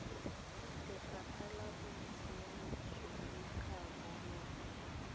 lefapha la bosiamisi le tlhabololo